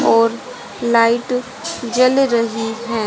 और लाइट जल रही हैं।